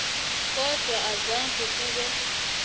kodwana azange kube